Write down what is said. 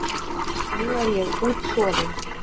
Nú er ég útsofin.